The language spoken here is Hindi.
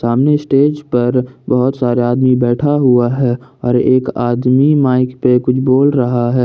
सामने स्टेज पर बहुत सारे आदमी बैठा हुआ है और एक आदमी माइक पे कुछ बोल रहा है।